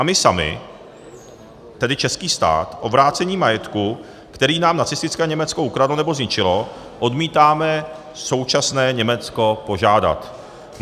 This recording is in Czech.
A my sami, tedy český stát, o vrácení majetku, který nám nacistické Německo ukradlo nebo zničilo, odmítáme současné Německo požádat.